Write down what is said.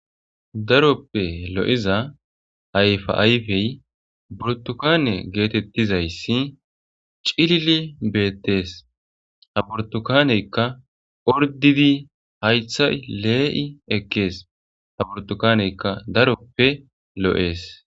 Daroppe lo7iza ayfa Ayfey burttukaAne geetettizayssi cilili beettees. Ha burttukaneykka orddidi haythay lee7i ekkees. Ha burttukaneykka daroppe lo7ees.